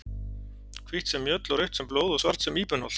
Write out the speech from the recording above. Hvítt sem mjöll og rautt sem blóð og svart sem íbenholt.